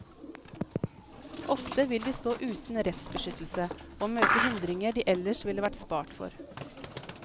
Ofte vil de stå uten rettsbeskyttelse og møte hindringer de ellers ville vært spart for.